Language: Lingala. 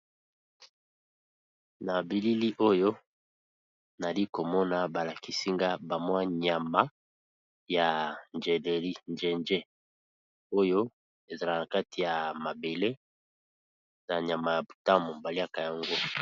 Na bilili oyo nali ko mona ba lakisi nga ba mwa nyama ya njeleri njenje oyo e zalaka na kati ya mabele, na nyama ya butamu ba liaka yango .